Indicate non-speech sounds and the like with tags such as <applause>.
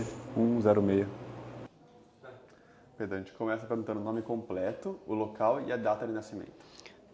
<unintelligible> Perdão, a gente começa perguntando o nome completo, o local e a data de nascimento.